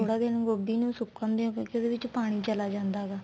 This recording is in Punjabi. ਥੋੜਾ ਦੇਰ ਗੋਭੀ ਨੂੰ ਸੁਕਣ ਦਿਉ ਕਿਉਂਕਿ ਉਹਦੇ ਵਿੱਚ ਪਾਣੀ ਚਲਾ ਜਾਂਦਾ ਹੈਗਾ